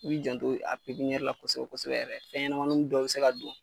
I b'i janto a pipiɲɛri la kosɛbɛ kosɛbɛ yɛrɛ fɛn ɲɛnɛmun dɔw be se ka don